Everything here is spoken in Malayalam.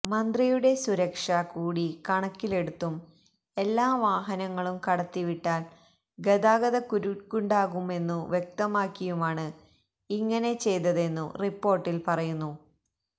മന്ത്രിയുടെ സുരക്ഷ കൂടി കണക്കിലെടുത്തും എല്ലാ വാഹനങ്ങളും കടത്തിവിട്ടാല് ഗതാഗതക്കുരുക്കുണ്ടാകുമെന്നു വ്യക്തമാക്കിയുമാണ് ഇങ്ങനെ ചെയ്തതെന്നു റിപ്പോര്ട്ടില് പറയുന്നു